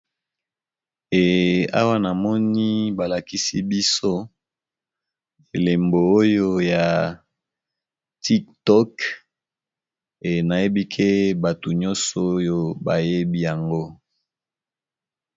Eawa na moni balakisi biso elembo oyo ya tik tok enayebi ke bato nyonso oyo bayebi yango.